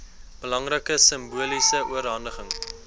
belangrike simboliese oorhandiging